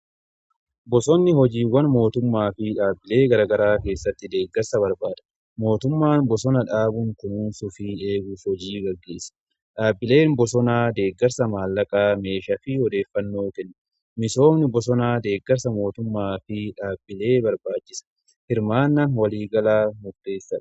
Bosonni hojiiwwan mootummaa fi dhaabbilee garaa garaa keessatti deeggarsa barbaada. mootummaan bosona dhaabuun kunuunsuu fi eeguuf hojii gaggeessa. Dhaabbileen bosonaa deeggarsa maallaqaa meeshaa fi odeeffannoo kenna. Misoomni bosonaa deeggarsa mootummaa fi dhaabbilee barbaada. Hirmaannaan waliigalaa murteessaadha.